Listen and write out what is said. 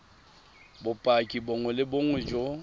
bopaki bongwe le bongwe jo